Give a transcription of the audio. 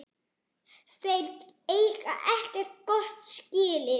Þeir eigi ekkert gott skilið.